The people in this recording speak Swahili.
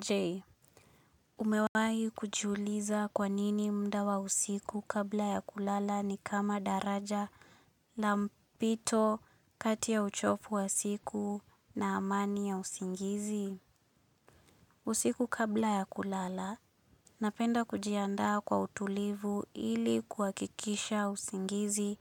Je. Umewai kujiuliza kwa nini mda wa usiku kabla ya kulala ni kama daraja la mpito kati ya uchofu wa siku na amani ya usingizi. Usiku kabla ya kulala napenda kujiandaa kwa utulivu ili kuakikisha usingizi